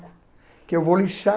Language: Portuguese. Porque eu vou lixar.